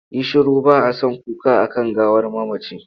Yi shiru! ba a son kuka a kan gawar mamaci.